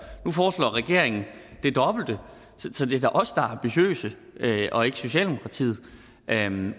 nu foreslår regeringen det dobbelte så det er da os ambitiøse og ikke socialdemokratiet men jeg vil